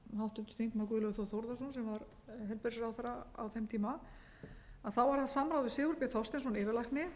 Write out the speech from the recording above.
guðlaugur þór þórðarson sem var heilbrigðisráðherra á þeim tíma var haft samráð við sigurbjörn þorsteinsson yfirlækni formann